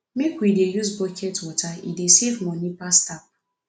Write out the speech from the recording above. make we dey use bucket water e dey save money pass tap